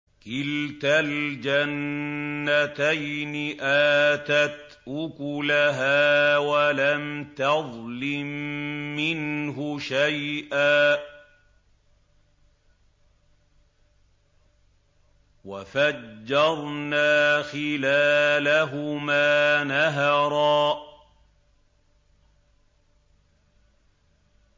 كِلْتَا الْجَنَّتَيْنِ آتَتْ أُكُلَهَا وَلَمْ تَظْلِم مِّنْهُ شَيْئًا ۚ وَفَجَّرْنَا خِلَالَهُمَا نَهَرًا